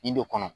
Ndo kɔnɔ